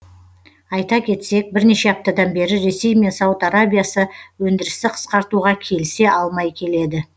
айта кетсек бірнеше аптадан бері ресей мен сауд арабиясы өндірісті қысқартуға келісе алмай келеді